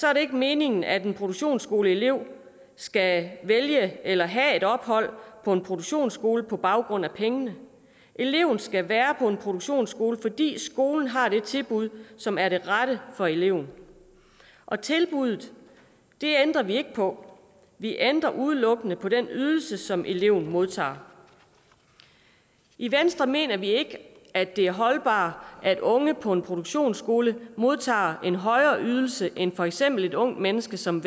er det ikke meningen at en produktionsskoleelev skal vælge eller have et ophold på en produktionsskole på baggrund af pengene eleven skal være på en produktionsskole fordi skolen har det tilbud som er det rette for eleven og tilbuddet ændrer vi ikke på vi ændrer udelukkende på den ydelse som eleven modtager i venstre mener vi ikke at det er holdbart at unge på en produktionsskole modtager en højere ydelse end for eksempel et ungt menneske som